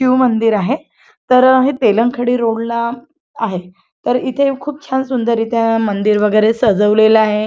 शिव मंदिर आहे तर हे तेलंखडी रोडला आहे तर इथे खूप छान सुंदर इथ मंदिर वगैरे सजवलेल आहे.